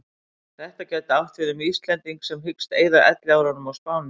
Þetta gæti átt við um Íslending sem hyggst eyða elliárunum á Spáni.